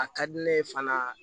A ka di ne ye fana